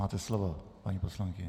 Máte slovo, paní poslankyně.